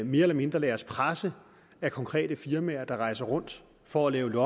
mere eller mindre lader os presse af konkrete firmaer der rejser rundt for at lave